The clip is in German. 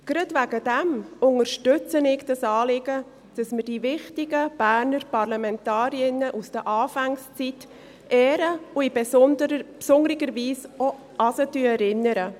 Gerade deshalb unterstütze ich das Anliegen, dass wir die wichtigen Berner Parlamentarierinnen aus den Anfangszeit ehren und in besonderer Weise auch an sie erinnern.